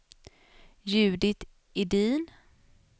Judit Edin